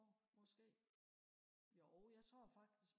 måske jo jeg tror faktisk